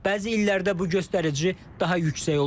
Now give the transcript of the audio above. Bəzi illərdə bu göstərici daha yüksək olur.